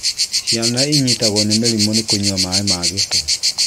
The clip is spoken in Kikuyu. Ciana inyitagwo nĩ mĩrimũ nĩ kũnyua maaĩ ma gĩko